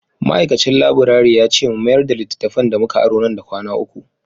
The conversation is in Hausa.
Ma’aikacin laburare ya ce mu mayar da littattafan da muka aro nan da kwana uku.